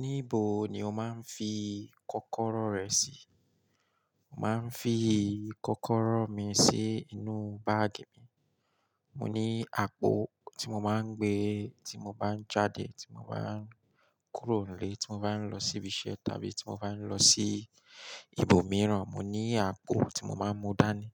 Níbo ni o máa ń fi kọ́kọ́rọ́ rẹ sí? Màá ń fi kọ́kọ́rọ́ mi sí inú báàgì mi. Mo ní àpò tí mo máa ń gbé, tí mo bá ń jáde, tí mo bá ń kúrò nílé, tí mo bá ń lọ síbi iṣẹ́, tàbí tí mo bá ń lọ sí ibòmíràn, mo ní àpò tí mo máa ń mú dání.